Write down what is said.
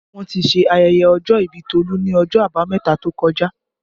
Wọ́n ti ṣe ayẹyẹ ọjọ́ ìbí Tolu ni ọjọ́ abameta tó kọjá